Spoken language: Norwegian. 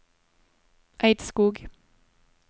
Eidskog